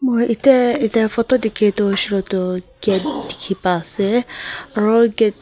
ikia photo dikhia tu huishe letu gate dikhi pai ase aro gate --